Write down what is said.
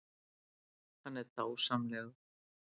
Hann er dásamlegur.